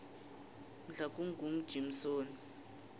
mhlakungujimsoni